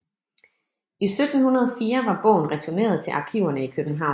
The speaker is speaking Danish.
I 1704 var bogen returneret til arkiverne i København